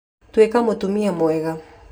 Tuĩka mũtumia mwega